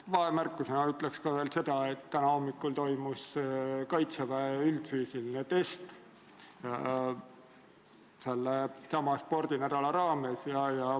Vahemärkusena ütlen veel seda, et täna hommikul toimus sellesama spordinädala raames kaitseväe üldfüüsiline test.